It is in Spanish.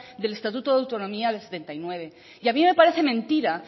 del estatuto de autonomía del setenta y nueve y a mí me parece mentira